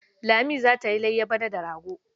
Lami za ta yi layya bana da rago.